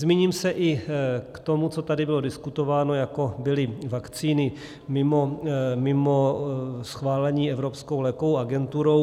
Zmíním se i k tomu, co tady bylo diskutováno, jako byly vakcíny mimo schválení Evropskou lékovou agenturou.